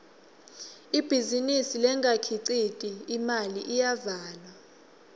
ibhizinisi lengakhiciti imali iyavalwa